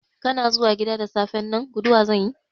Kana zuwa gida da safen nan, guduwa zanyi?